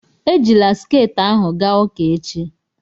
Ejila sket ahụ gaa ụka echi!